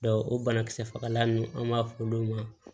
o banakisɛ fagalan ninnu an b'a fɔ olu ma